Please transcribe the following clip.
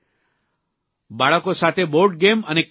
બાળકો સાથે બોર્ડગેમ અને ક્રિકેટ રમે છે